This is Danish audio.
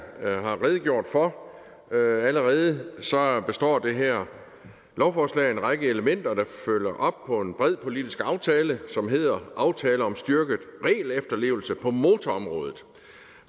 har redegjort for allerede består det her lovforslag af en række elementer der følger op på en bred politisk aftale som hedder aftale om styrket regelefterlevelse på motorområdet